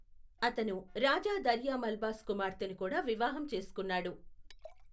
అతను రాజా దర్యా మల్భాస్ కుమార్తెను కూడా వివాహం చేసుకున్నాడు.